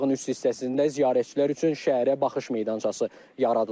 Tağın üst hissəsində ziyarətçilər üçün şəhərə baxış meydançası yaradılıb.